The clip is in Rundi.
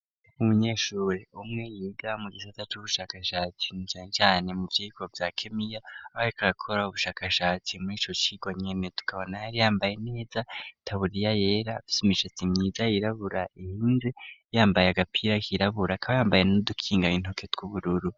Umunyeshuri umwe yiga mu gisata cubushakashatsi na cane cane mu vyirwa vya kemiya aba ariko arakora ubushakashatsi murico cirwa nyene tukabona yari yambaye neza taburiya yera afise imishatse myiza yirabura. kandi yambaye agapira k'irabura kaba yambaye no dukinga intoke tw'ubururu.